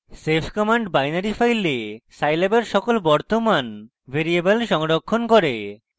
save command binary file scilab এর সকল বর্তমান ভ্যারিয়েবল সংরক্ষণ করে